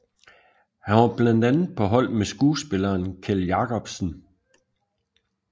Han var blandt andre på hold med skuespilleren Kjeld Jacobsen